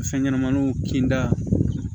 Fɛn ɲɛnɛmaninw kinta